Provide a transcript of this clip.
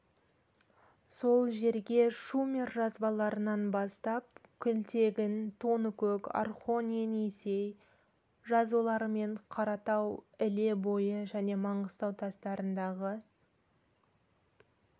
сол жерге шумер жазбаларынан бастап күлтегін тоныкөк орхон-енисей жазулары мен қаратау іле бойы және маңғыстау тастарындағы